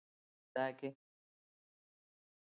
Heyri það ekki.